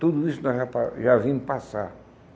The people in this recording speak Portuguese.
Tudo isso nós já pa já vimos passar.